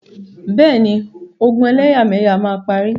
Bẹ́ẹ̀ni, ogun ẹlẹ́yàmẹyà máa parí.